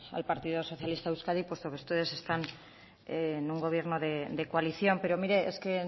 al partido socialista de euskadi puesto que ustedes están en un gobierno de coalición pero mire es que